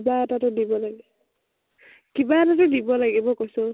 কিবা এটাতো দিব লাগিব। কিবা এটাতো দিব লাগিব কৈছো।